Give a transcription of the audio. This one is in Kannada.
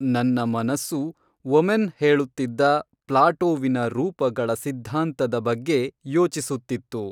ನನ್ನ ಮನಸ್ಸು ಒಮೆನ್ ಹೇಳುತ್ತಿದ್ದ ಪ್ಲಾಟೋವಿನ ರೂಪಗಳ ಸಿದ್ಧಾಂತದ ಬಗ್ಗೆ ಯೋಚಿಸುತ್ತಿತ್ತು